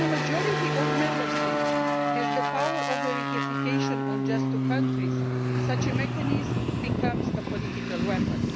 When a majority of Member States has the power of verification on just two countries, such a mechanism becomes a political weapon.